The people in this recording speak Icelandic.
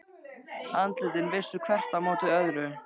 Andlitin vissu hvert á móti öðru.